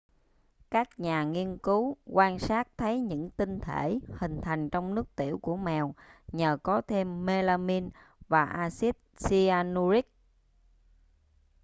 các nhà nghiên cứu quan sát thấy những tinh thể hình thành trong nước tiểu của mèo nhờ có thêm melamine và acid cyanuric